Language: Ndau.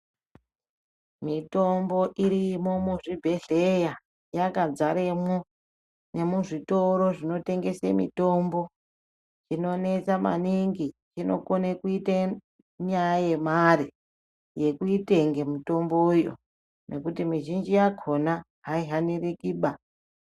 Mitombo irimwo muzvibhehleya yakadzaremwo nemuzvitoro zvinotengese mitombo inonesa maningi inokone kuite nyaya yemare yekuitenge mitombo yo ngekuti mizhinji yakona haihanirikiba.